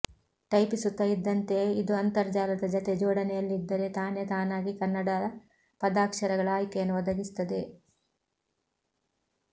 ಟೈಪಿಸುತ್ತಾ ಇದ್ದಂತೆ ಇದು ಅಂತರ್ಜಾಲದ ಜತೆ ಜೋಡಣೆಯಲಿದ್ದರೆ ತಾನೆ ತಾನಾಗಿ ಕನ್ನಡ ಪದಾಕ್ಷರಗಳ ಆಯ್ಕೆಯನ್ನು ಒದಗಿಸುತ್ತದೆ